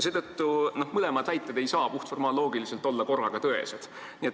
Need kaks väidet ei saa puhtformaalloogiliselt korraga tõesed olla.